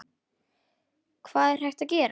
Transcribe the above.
Hvað er hægt að gera?